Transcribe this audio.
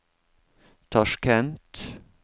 Tasjkent